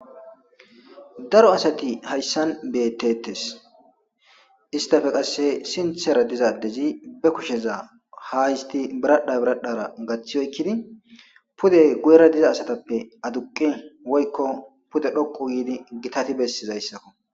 Daro asati haysan beetesi,istappe qase sinthera diza adezi be kusheza h histi biradha biradhara gathi oykidi pude guyera diza asatappe aduqi woyko pude dhoqu gidi gitati besizaysako.